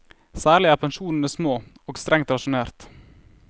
Særlig er pensjonene små og strengt rasjonert.